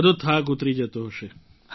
બધો થાક ઉતરી જતો હશે